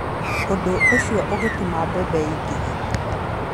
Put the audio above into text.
Ũndũ ũcio ũgatũma mbembe ĩingĩhe.